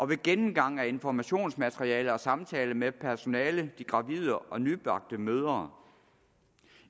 ved gennemgang af informationsmateriale og ved samtale med personalet de gravide og de nybagte mødre